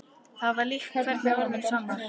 Það var líka hverju orði sannara.